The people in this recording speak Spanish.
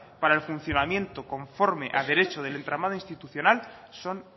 para el funcionamiento conforme a derecho del entramado institucional son